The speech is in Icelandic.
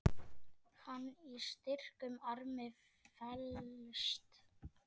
Hann í styrkum armi felst.